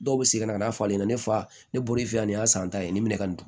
Dɔw bɛ segin ka na fɔ ale ɲɛna ne fa ne bɔra e fɛ yan nin y'a san ta ye ni minɛ ka don